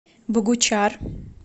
богучар